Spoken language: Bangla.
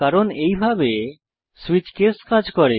কারণ এইভাবে সুইচ কেস কাজ করে